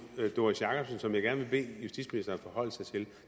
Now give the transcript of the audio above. doris jakobsen som jeg gerne vil bede justitsministeren forholde sig til det